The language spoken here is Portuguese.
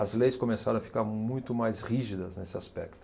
As leis começaram a ficar muito mais rígidas nesse aspecto.